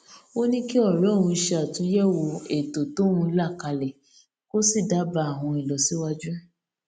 ó ní kí òré òun ṣe àtúnyẹwò ètò tóun là kalẹ kó sì dábàá àwọn ìlọsíwájú